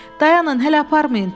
Dayanın, hələ aparmayın.